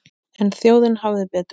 En þjóðin hafði betur.